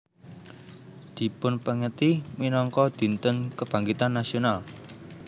Dipunpèngeti minangka Dinten Kebangkitan Nasional